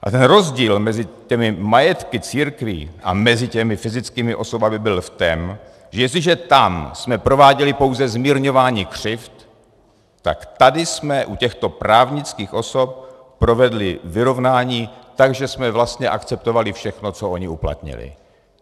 A ten rozdíl mezi těmi majetky církví a mezi těmi fyzickými osobami byl v tom, že jestliže tam jsme prováděli pouze zmírňování křivd, tak tady jsme u těchto právnických osob provedli vyrovnání, takže jsme vlastně akceptovali všechno, co ony uplatnily.